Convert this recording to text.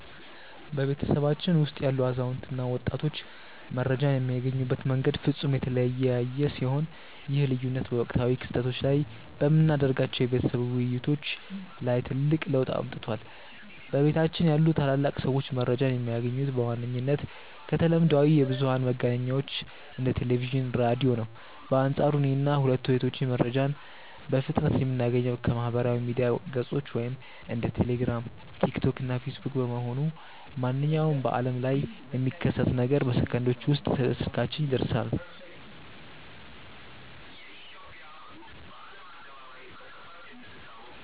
በቤተሰባችን ውስጥ ያሉ አዛውንት እና ወጣቶች መረጃን የሚያገኙበት መንገድ ፍጹም የተለያየ ሲሆን፣ ይህ ልዩነት በወቅታዊ ክስተቶች ላይ በምናደርጋቸው የቤተሰብ ውይይቶች ላይ ትልቅ ለውጥ አምጥቷል። በቤታችን ያሉ ታላላቅ ሰዎች መረጃን የሚያገኙት በዋነኝነት ከተለምዷዊ የብዙኃን መገናኛዎች እንደ ቴሌቪዥን፣ ራዲዮ ነው። በአንፃሩ እኔና ሁለቱ እህቶቼ መረጃን በፍጥነት የምናገኘው ከማኅበራዊ ሚዲያ ገጾች (እንደ ቴሌግራም፣ ቲክቶክ እና ፌስቡክ) በመሆኑ፣ ማንኛውም በዓለም ላይ የሚከሰት ነገር በሰከንዶች ውስጥ ስልካችን ላይ ይደርሰናል።